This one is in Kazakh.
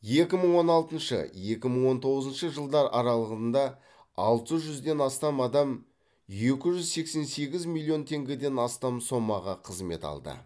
екі мың он алтыншы екі мың он тоғызыншы жылдар аралығында алты жүзден астам адам екі жүз сексен сегіз миллион теңгеден астам сомаға қызмет алды